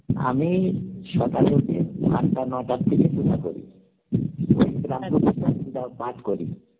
আমি সকালে উঠে আটটা নটা থেকে পূজা করি পাঠ করি